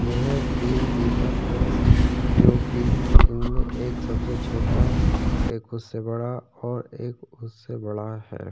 यह तीन दीपक हैं जो की इनमें एक सबसे छोटा और एक उससे बड़ा और एक उससे बड़ा है।